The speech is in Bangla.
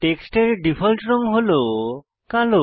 টেক্সটের ডিফল্ট রঙ হল কালো